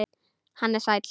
Hann er sæll.